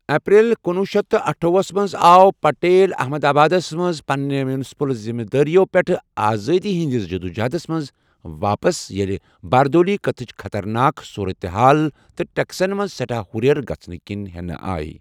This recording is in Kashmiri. اپریل کُنوُہ شیٚتھ تہٕ اٹھووُہَس منٛز آو پٹیل احمد آبادس منٛز پننہِ میونسپل ذمہ دٲریَو پٮ۪ٹھ آزٲدی ہنٛدِس جدوجہدس منٛز واپس ییٚلہِ باردولی قحطٕچ خَطَرناک صوٗرَت حال تہٕ ٹیکسن منٛز سیٹھاہ ہُرٮ۪ر گژھنہٕ کینۍ ہٮ۪نہٕ آیہِ۔